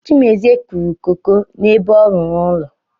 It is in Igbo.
Chimezie kụrụ koko n’ebe ọ rụrụ ụlọ